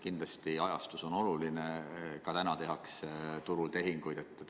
Kindlasti on ajastus oluline, aga ka täna tehakse turul tehinguid.